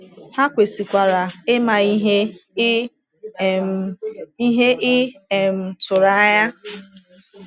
Ha kwesịkwara ịma ihe ị um ihe ị um tụrụ anya.